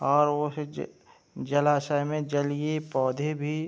और वो है जे जलाषय में जलिय पौधे भी --